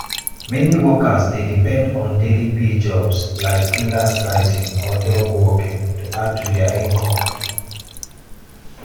meni workers dey depend on daily pay jobs like freelance writing or dog walking to add to dia income.